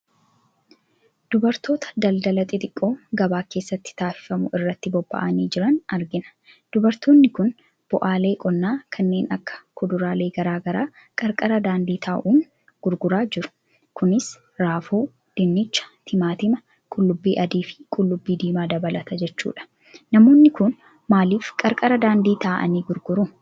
Dubartoota daldala xixiqqoo gabaa keessatti taasifamu irratti bobba'anii jiran arginaa. Dubartoonni kun bu'aalee qonnaa kanneen akka kuduralee garaagaraa qarqara daandii taa'uun gurguraa jiru. Kunis raafuu, dinnicha, timaatima, qullubbii adii fi qullubbii diimaa dabalata jechuu dha. Namoonni kun maalif qarqara daandii taa'anii gurguruu ?